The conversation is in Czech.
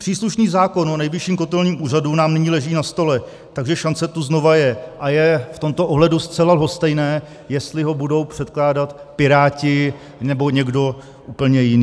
Příslušný zákon o Nejvyšším kontrolním úřadu nám nyní leží na stole, takže šance tu znovu je, a je v tomto ohledu zcela lhostejné, jestli ho budou předkládat Piráti, nebo někdo úplně jiný.